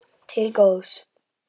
Til góðs.